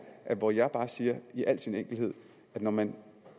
hvor jeg bare siger i al sin enkelhed at når man